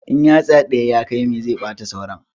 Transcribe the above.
In yatsa ɗaya ya kawi mai zai ɓata sauran